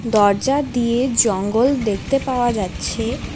দরজা দিয়ে জঙ্গল দেখতে পাওয়া যাচ্ছে।